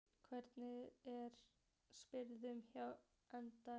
Hvernig er stemningin hjá Einherja?